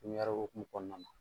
hokumu kɔnɔna na.